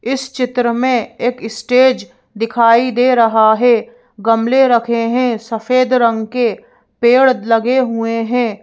इस चित्र में एक स्टेज दिखाई दे रहा है गमले रखे हैं सफेद रंग के पेड़ लगे हुए हैं।